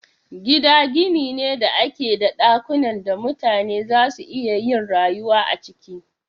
Gida gini ne da ke da dakunan da mutane za su iya yin rayuwa a ciki.